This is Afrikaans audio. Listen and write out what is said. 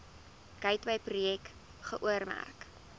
gateway projek geoormerk